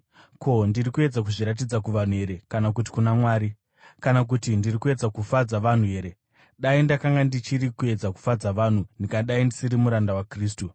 Ko, ndiri kuedza kuzviratidza kuvanhu here kana kuti kuna Mwari? Kana kuti ndiri kuedza kufadza vanhu here? Dai ndakanga ndichiri kuedza kufadza vanhu, ndingadai ndisiri muranda waKristu.